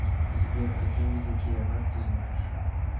сбер какие виды киямат ты знаешь